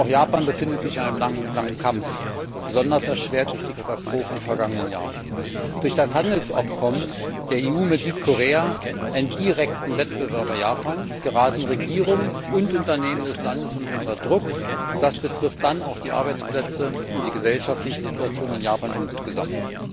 Auch Japan befindet sich in einem langen Kampf, besonders erschwert durch die Katastrophe im vergangenen Jahr. Durch das Handelsabkommen der EU mit Südkorea, einem direkten Wettbewerber Japans, geraten Regierung und Unternehmen des Landes unter Druck, und das betrifft dann auch die Arbeitsplätze und die gesellschaftliche Situation in Japan insgesamt.